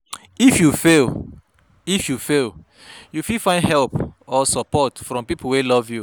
If you fail If you fail you fit find support or help from pipo wey love you